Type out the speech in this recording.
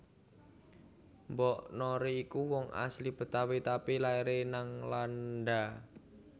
Mpok Nori iki wong asli Betawi tapi laire nang Landa